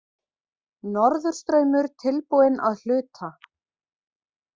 Norðurstraumur tilbúinn að hluta